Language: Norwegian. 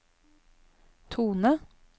tone